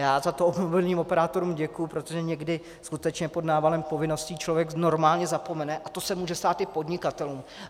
Já za to mobilním operátorům děkuji, protože někdy skutečně pod návalem povinností člověk normálně zapomene a to se může stát i podnikatelům.